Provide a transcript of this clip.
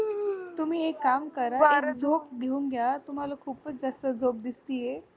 तुम्ही एक काम करा झोप घेऊन घ्या तुम्हाला खूपच जास्त झोप दिसते